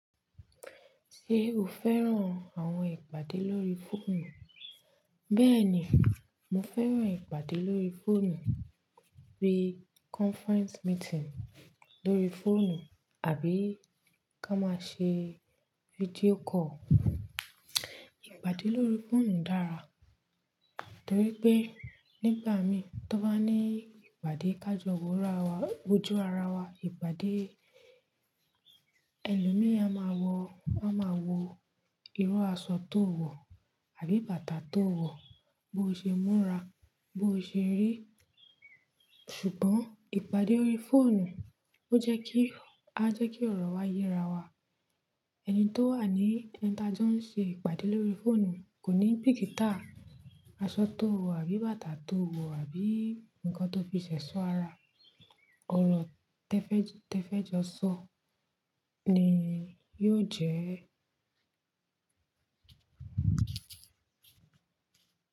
Ṣé o fẹ́ràn àwọn ìpàdé lórí fóònù? Bẹ́ẹ̀ ni, mo fẹ́ràn ìpàdé lórí fóònù, bíi conference meeting lórí fóònù, àbí ká máa ṣe video call. Ìpàdé lórí fóònù dára, torí pé nígbà mi tó bá ní ìpàdé kájo wojú ara wa, ìpàdé ẹlòmíràn máa wo irú aṣọ tó wọ̀ àbí bàtà tó wọ̀ bó ṣe múra, bó ṣe rí. Ṣùgbọ́n ìpàdé lórí fóònù ó jẹ́ kí ọ̀rọ̀ wá yera wa. Ẹni tó wà ní ẹni tí a jọ ń ṣe ìpàdé lórí fóònù kò ní bìkítà aṣọ tó wọ̀ àbí bàtà tó wọ̀ àbí ǹkan tó fi ṣẹ̀ṣọ́ ara. Òrọ̀ tẹ́fẹ́ẹ́jọṣọ ni yóò jẹ́